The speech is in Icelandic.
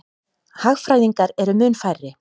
Hagfræðingar eru mun færri.